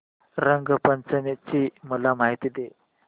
रंग पंचमी ची मला माहिती दे